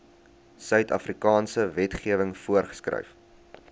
suidafrikaanse wetgewing voorgeskryf